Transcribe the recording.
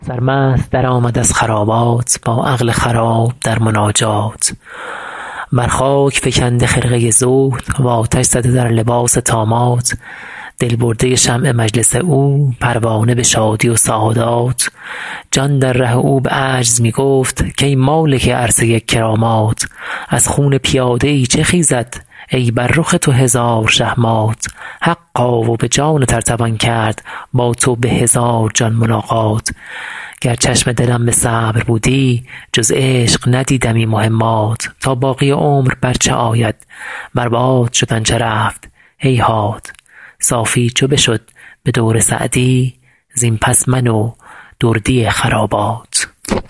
سرمست درآمد از خرابات با عقل خراب در مناجات بر خاک فکنده خرقه زهد و آتش زده در لباس طامات دل برده شمع مجلس او پروانه به شادی و سعادات جان در ره او به عجز می گفت کای مالک عرصه کرامات از خون پیاده ای چه خیزد ای بر رخ تو هزار شه مات حقا و به جانت ار توان کرد با تو به هزار جان ملاقات گر چشم دلم به صبر بودی جز عشق ندیدمی مهمات تا باقی عمر بر چه آید بر باد شد آن چه رفت هیهات صافی چو بشد به دور سعدی زین پس من و دردی خرابات